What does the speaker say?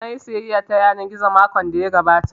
Nayi sayayya ta yanar gizo makon da ya gabata